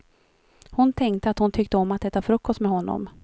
Hon tänkte att hon tyckte om att äta frukost med honom.